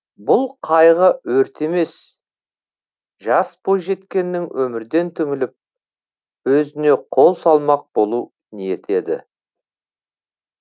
бұл қайғы өрт емес жас бойжеткеннің өмірден түңіліп өзіне қол салмақ болу ниеті еді